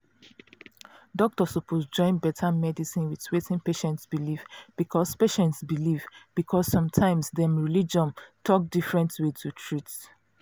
doctor suppose join better medicine with wetin patient believe because patient believe because sometimes dem religion talk different way to treat